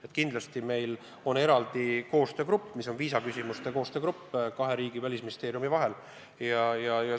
Meil on moodustatud kahe riigi välisministeeriumi eraldi viisaküsimuste koostöögrupp.